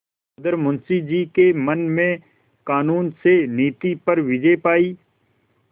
उधर मुंशी जी के मन ने कानून से नीति पर विजय पायी